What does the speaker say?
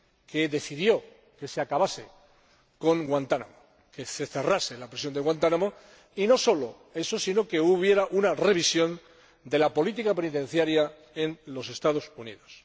que decidió que se acabase con Guantánamo, que se cerrase la prisión de Guantánamo, y no solo eso, sino también que hubiera una revisión de la política penitenciaria en los Estados Unidos.